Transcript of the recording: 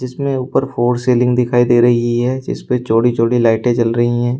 इसमें ऊपर फोर सीलिंग दिखाई दे रही है जिसपे चौड़ी चौड़ी लाइटें जल रही हैं।